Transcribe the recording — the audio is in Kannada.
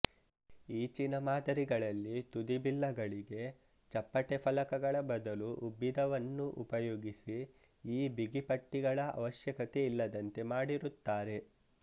ಈಚಿನ ಮಾದರಿಗಳಲ್ಲಿ ತುದಿಬಿಲ್ಲಗಳಿಗೆ ಚಪ್ಪಟೆ ಫಲಕಗಳ ಬದಲು ಉಬ್ಬಿದವನ್ನು ಉಪಯೋಗಿಸಿ ಈ ಬಿಗಿಪಟ್ಟಿಗಳ ಅವಶ್ಯಕತೆ ಇಲ್ಲದಂತೆ ಮಾಡಿರುತ್ತಾರೆ